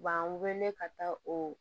U b'an wele ka taa o